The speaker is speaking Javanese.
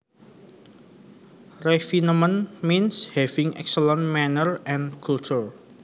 Refinement means having excellent manners and culture